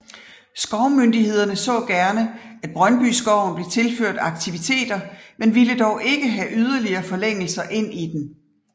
Skovmyndighederne så gerne at Brøndbyskoven blev tilført aktiviteter men ville dog ikke have yderligere forlængelser ind i den